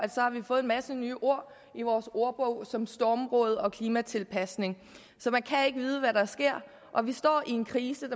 har vi fået en masse nye ord i vores ordbog som stormrådet og klimatilpasning så man kan ikke vide hvad der sker og vi står i en krise